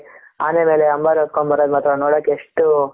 ಆನೆ ಮೇಲೆ ಅಂಬಾರಿ ಹೊತ್ಕೊಂಡ್ ಬರೋದು ಮಾತ್ರ ನೋಡಕ್ಕೆ ಎಷ್ಟು